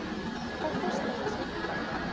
Hvað kostar þessi úlpa?